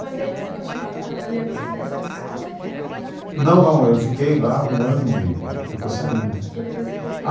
Mas aí você continuava trabalhando nessa casa, que era na... Não, não, eu fiquei lá um ano e pouco e depois saí, né? E depois você foi para